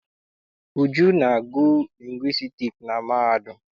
Uju na-agụ lingwistiks na mahadum.